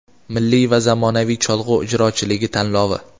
"Milliy va zamonaviy cholg‘u ijrochiligi" tanlovi.